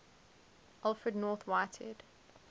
alfred north whitehead